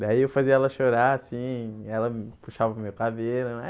Daí eu fazia ela chorar assim, ela hum puxava o meu cabelo.